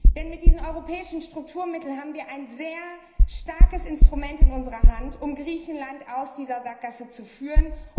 Denn mit diesen europäischen Strukturmitteln haben wir ein sehr starkes Instrument in unserer Hand, um Griechenland aus dieser Sackgasse zu führen.